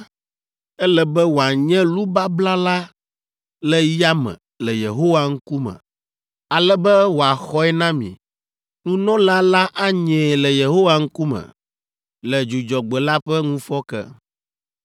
Ele be wòanye lu babla la le yame le Yehowa ŋkume, ale be wòaxɔe na mi. Nunɔla la anyee le Yehowa ŋkume le Dzudzɔgbe la ƒe ŋufɔke.